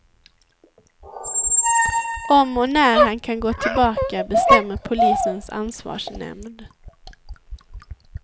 Om och när han kan gå tillbaka bestämmer polisens ansvarsnämnd.